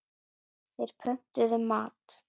Þeir pöntuðu mat.